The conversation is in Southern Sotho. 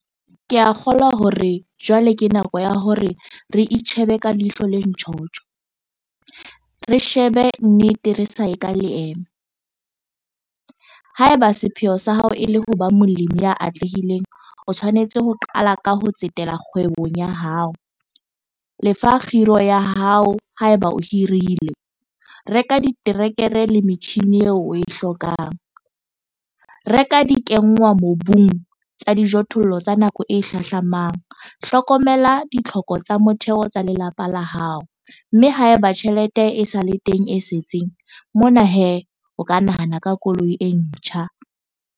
Ke a kgolwa hore jwale ke nako ya hore re itjhebe ka ihlo le ntjhotjho, re shebe nnete re sa ye ka leeme - Haeba sepheo sa hao e le ho ba molemi ya atlehileng, o tshwanetse ho qala ka ho tsetela kgwebong ya hao. Lefa kgiro ya hao, haeba o hirile, reka diterekere le metjhine eo o e hlokang, reka dikenngwamobung tsa dijothollo tsa nako e hlahlamang, hlokomela ditlhoko tsa motheo tsa lelapa la hao, mme haeba tjhelete e sa le teng e setseng, mona he, o ka nahana ka koloi e ntjha.